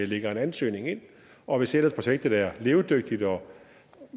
lægger en ansøgning ind og hvis ellers projektet er levedygtigt og